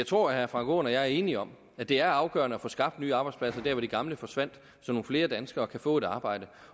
tror at herre frank aaen og jeg er enige om at det er afgørende at få skabt nye arbejdspladser der hvor de gamle forsvandt så nogle flere danskere kan få et arbejde